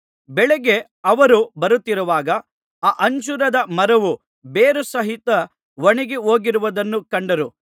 ಬೆಳಗ್ಗೆ ಅವರು ಬರುತ್ತಿರುವಾಗ ಆ ಅಂಜೂರದ ಮರವು ಬೇರುಸಹಿತ ಒಣಗಿಹೋಗಿರುವುದನ್ನು ಕಂಡರು